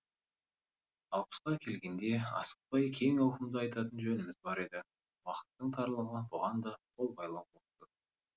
алпысқа келгенде асықпай кең ауқымда айтатын жөніміз бар еді уақыттың тарлығы бұған да қол байлау боп тұр